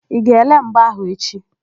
Ị ga-ele mgba áhụ̀ echi?